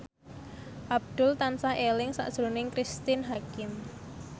Abdul tansah eling sakjroning Cristine Hakim